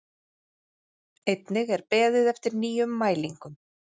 Einnig er beðið eftir nýjum mælingum